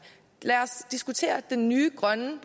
lad os diskutere den nye grønne